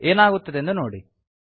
ಏನಾಗುತ್ತದೆಂದು ನೋಡಿ